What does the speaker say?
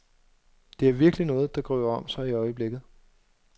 Det er virkelig noget, der griber om sig i øjeblikket.